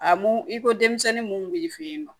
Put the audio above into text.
A mun i ko denmisɛnnin mun b'i fɛ yen nɔ